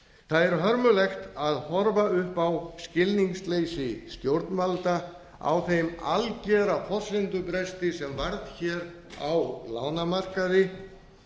það er hörmulegt að horfa upp á skilningsleysi stjórnvalda á þeim algera forsendubresti sem varð á lánamarkaði